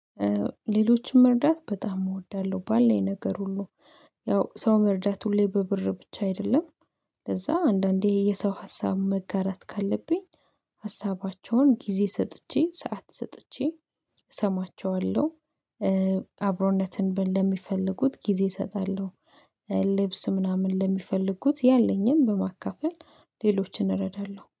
ሌሎችን መርዳት በጣም እወዳለሁ ባለኝ ነገር ሁሉ ያው ሰው መርዳት ሁሌ በብር ብቻ አይደለም። ለዛ አንዳንዴ የሰው ሀሳብ መጋራት ካለብኝ ሀሳባቸውን ጊዜ ሰጥቼ ሰዓት ሰጥቼ እሰማቸዋለሁ። አብሮነትን ለሚፈልጉት ጊዜ እሰጣለሁ። ልብስ ምናምን ለሚፈልጉት ያለኝን በማካፈል ሌሎችን እረዳለሁ